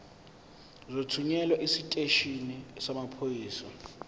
uzothunyelwa esiteshini samaphoyisa